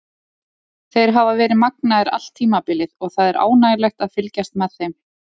Þeir hafa verið magnaðir allt tímabilið og það er ánægjulegt að fylgjast með þeim.